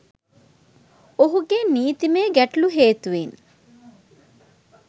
ඔහුගේ නීතිමය ගැටලු හේතුවෙන්